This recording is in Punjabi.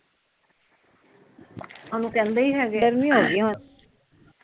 ਗਰਮੀ ਹੋਗਈ ਹੁਣ